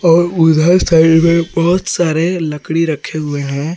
और उधर साइड में बहुत सारे लकड़ी रखे हुए हैं।